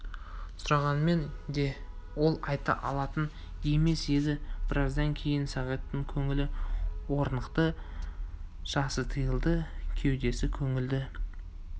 сұрағанмен де ол айта алатын емес еді біраздан кейін сағиттың көңілі орнықты жасы тыйылды кеудесі кеңіді